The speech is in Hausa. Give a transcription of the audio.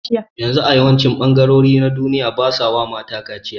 Yanzu a yawancin ɓangarori na duniya basawa mata kaciya